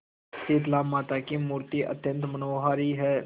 शीतलामाता की मूर्ति अत्यंत मनोहारी है